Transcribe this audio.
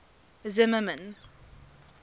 zimmermann